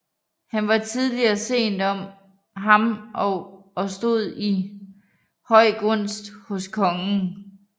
Han var tidligt og sent om ham og stod i høj gunst hos kongen